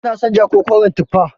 Kina son ja ko koren tufa?